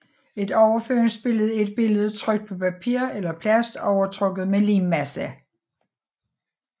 Et overføringsbillede er et billede trykt på papir eller plast overtrukket med limmasse